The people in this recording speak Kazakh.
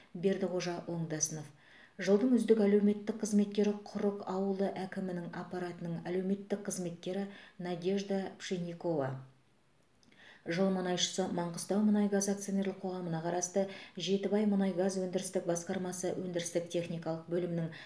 бердіқожа оңдасынов жылдың үздік әлеуметтік қызметкері құрық ауылы әкімі аппаратының әлеуметтік қызметкері надежда пшенникова жыл мұнайшысы маңғыстаумұнайгаз акционерлік қоғамына қарасты жетібаймұнайгаз өндірістік басқармасы өндірістік техникалық бөлімінің